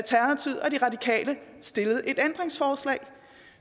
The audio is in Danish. stillet et ændringsforslag